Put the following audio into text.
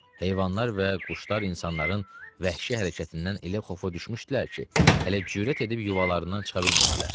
Heyvanlar və quşlar insanların vəhşi hərəkətindən elə xofa düşmüşdülər ki, hələ cürət edib yuvalarından çıxa bilmirdilər.